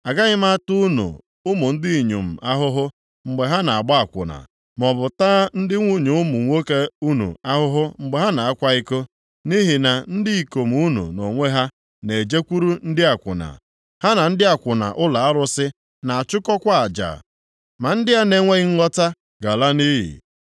“Agaghị m ata ụmụ unu ndị inyom ahụhụ, mgbe ha na-agba akwụna, maọbụ taa ndị nwunye ụmụ nwoke unu ahụhụ mgbe ha na-akwa iko, nʼihi na ndị ikom unu nʼonwe ha na-ejekwuru ndị akwụna, ha na ndị akwụna ụlọ arụsị na-achụkọkwa aja, ma ndị a na-enweghị nghọta ga-ala nʼiyi.